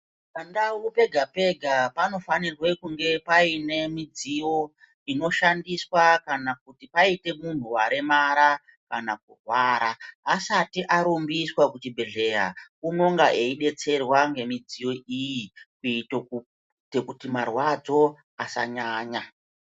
Pa ndau pega pega pano fanirwe kunge paine mudziyo ino shandiswa kana kuti paite munhu waremara kana kurwara asati arumbiswa ku chibhedhleya unonga eyi detserwa nge midziyo iyi kuitire kuti marwadzo asa nyanya.